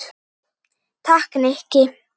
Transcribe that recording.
Takk, Nikki